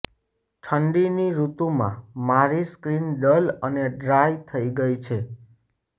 ઠંડીની ઋતુમાં મારી સ્કિન ડલ અને ડ્રાય થઈ ગઈ છે